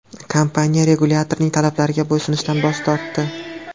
Kompaniya regulyatorning talablariga bo‘ysunishdan bosh tortdi.